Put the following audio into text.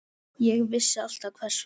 Ég vissi alltaf hvers vegna.